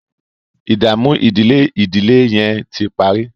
ìdààmú ìdílé ìdílé yén tí parí.